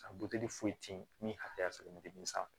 A buteli foyi te yen min hakɛya sɔrɔlen tɛ den sanfɛ